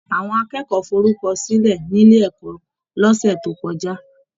Àwọn akẹ́kọ̀ọ́ forukọsilẹ nílé ẹ̀kọ́ l'ọsẹ tó kọjá.